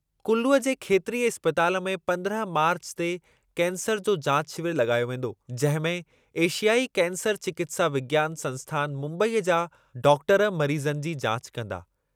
कुल्लूअ जे खेत्रीय इस्पताल में पंद्रह मार्चु ते कैंसर जो जाच शिविर लॻायो वेंदो जंहिंमें एशियाई कैंसर चिकित्सा विज्ञान संस्थान मुम्बईअ जा डॉक्टर मरीज़नि जी जाच कंदा।